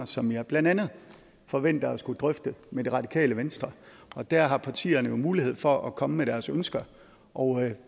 som jeg blandt andet forventer at skulle drøfte med det radikale venstre og der har partierne jo mulighed for at komme med deres ønsker og